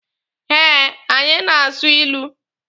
Eh, anyị na-asụ ilu.